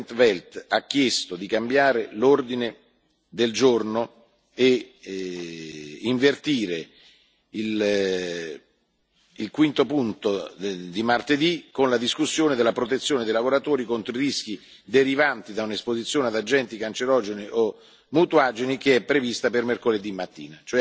in 't Veld ha chiesto di cambiare l'ordine del giorno e invertire il quinto punto di martedì con la discussione sulla protezione dei lavoratori contro i rischi derivanti da un'esposizione ad agenti cancerogeni o mutageni, che è prevista per mercoledì mattina.